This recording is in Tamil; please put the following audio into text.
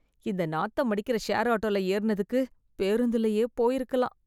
இந்த நாத்தமடிக்கிற ஷேர் ஆட்டோல ஏறுனதுக்கு, பேருந்துலயே போயிருக்கலாம்.